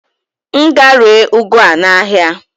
M gaa ree ụgụ a n'ahịa?